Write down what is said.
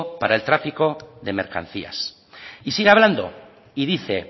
para tráfico de mercancías y sigue hablando y dice